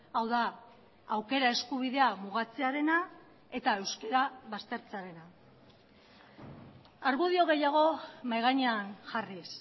hau da aukera eskubidea mugatzearena eta euskara baztertzearena argudio gehiago mahai gainean jarriz